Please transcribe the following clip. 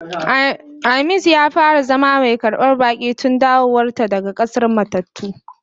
Aamins ya fara zama mai karban baki tun dawowar ta daga k'asar matattu.